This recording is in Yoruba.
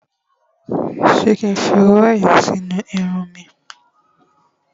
Ṣé kí n fi owó ẹyọ sí inú irun mi?